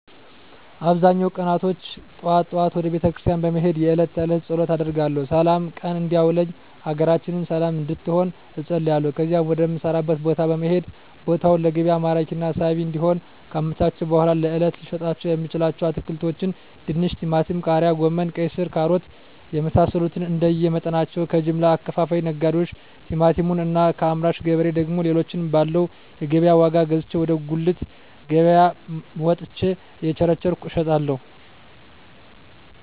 በአብዛኛው ቀናቶች ጠዋት ጠዋት ወደ ቤተክርስቲያን በመሄድ የእለት ተእለት ፀሎት አደርጋለሁ ስላም ቀን እንዲያውለኝ ሀገራችንን ሰለም እንድትሆን እፀልያለሁ ከዚያም ወደ ምሰራበት ቦታ በመሄድ ቦታውን ለገቢያ ማራኪና ሳቢ እንዲሆን ካመቻቸሁ በኃላ ለእለት ልሸጣቸው የምችለዉን አትክልቶች ድንች ቲማቲም ቃሪያ ጎመን ቀይስር ካሮት የመሳሰሉትንእንደየ መጠናቸው ከጀምላ አከፋፋይ ነጋዴዎች ቲማቲሙን እና ከአምራች ገበሬ ደግሞ ሌሎችን ባለው የገቢያ ዋጋ ገዝቼ ወደ ጉልት ገቢያየ መጥቸ እየቸረቸርኩ እሸጣለሁ